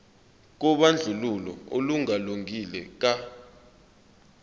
kobandlululo olungalungile ka